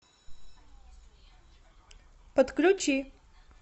подключи